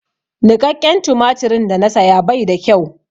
Niƙaƙƙen tumatirin da na saya bai da kyau.